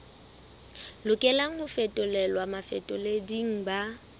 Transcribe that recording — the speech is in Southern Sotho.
lokelang ho fetolelwa bafetoleding ba